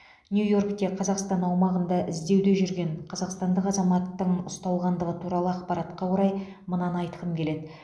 нью йоркте қазақстан аумағында іздеуде жүрген қазақстандық азаматтың ұсталғандығы туралы ақпаратқа орай мынаны айтқым келеді